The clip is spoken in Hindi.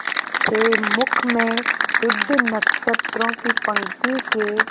से मुख में शुद्ध नक्षत्रों की पंक्ति के